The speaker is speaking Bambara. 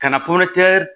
Kana pankurun tɛntɛ